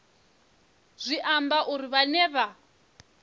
zwi amba uri vhane vha